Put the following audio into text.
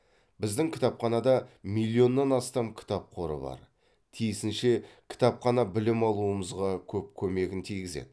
біздің кітапханада миллионнан астам кітап қоры бар тиісінше кітапхана білім алуымызға көп көмегін тигізеді